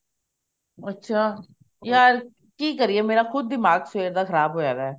ਅੱਛਾ ਯਾਰ ਕੀ ਕਰੀਏ ਮੇਰਾ ਖੁਦ ਸਵੇਰ ਦਾ ਖਰਾਬ ਹੋਇਆ ਪਿਆ